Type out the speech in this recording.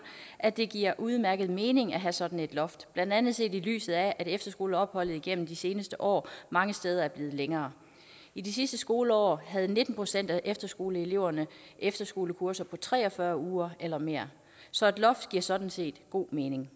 at det giver udmærket mening at have sådan et loft blandt andet set i lyset af at efterskoleopholdet igennem de seneste år mange steder er blevet længere i det sidste skoleår havde nitten procent af efterskoleeleverne efterskolekurser på tre og fyrre uger eller mere så et loft giver sådan set god mening